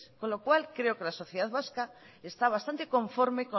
con lo cual creo que la sociedad vasca está bastante conforme